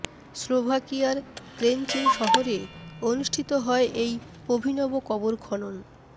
স্লোভাকিয়ার Trencin শহরে অনুষ্ঠিত হয় এই অভিনব কবর খনন